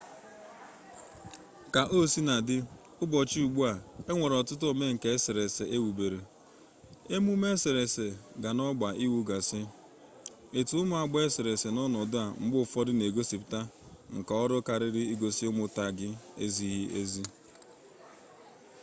kaosinadị ụbọchị ugbu a e nwere ọtụtụ omenka eserese ewubere emume eserese ga n'ọgba iwu gasị etemụagba eserese n'ọnọdụ a mgbe ụfọdụ na-egosipụta nkaọrụ karịa igosi ụmụ taagị ezighi ezi